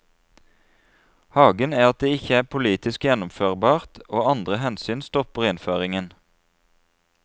Haken er at det ikke er politisk gjennomførbart og andre hensyn stopper innføringen.